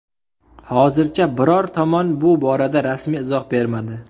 Hozircha biror tomon bu borada rasmiy izoh bermadi.